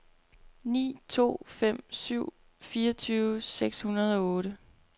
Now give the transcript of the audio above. ni to fem syv fireogtyve seks hundrede og otte